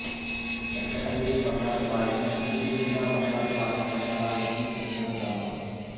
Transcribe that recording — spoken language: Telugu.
వెంకటగిరి బంగారుపాలెం చిత్తూరు జిల్లా బంగారుపాలెం మండలానికి చెందిన గ్రామం